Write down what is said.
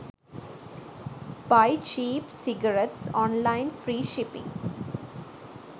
buy cheap cigarettes online free shipping